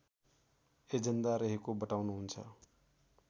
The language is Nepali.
एजेण्डा रहेको बताउनुहुन्छ